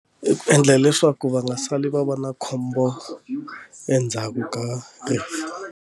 I ku endla leswaku va nga sali va va na khombo endzhaku ka rifu.